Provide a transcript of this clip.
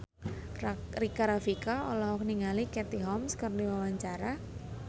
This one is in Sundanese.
Rika Rafika olohok ningali Katie Holmes keur diwawancara